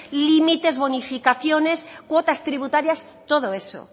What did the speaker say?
limites bonificaciones cuotas tributarias todo eso